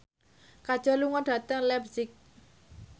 Kajol lunga dhateng leipzig